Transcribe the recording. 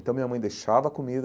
Então, minha mãe deixava a comida,